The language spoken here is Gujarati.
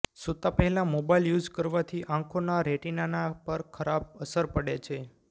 સૂતા પહેલા મોબાઇલ યૂઝ કરવાથી આંખોના રેટિનાના પર ખરાબ અસર પડે છે